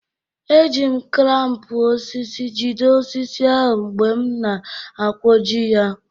E ji m klampụ osisi jide osisi ahụ mgbe m na-akwọji ya.